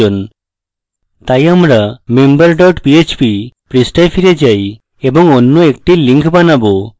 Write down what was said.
তাই আমরা member dot php পৃষ্ঠায় ফিরে যাই এবং অন্য একটি link বানাবো